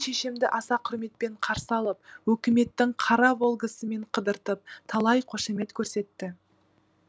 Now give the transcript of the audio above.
шешемді аса құрметпен қарсы алып өкіметтің қара волгасымен қыдыртып талай қошамет көрсетті